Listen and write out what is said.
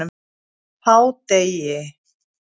hádegi